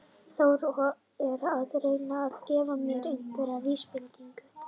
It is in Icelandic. Þór er að reyna að gefa mér einhverjar vísbendingar.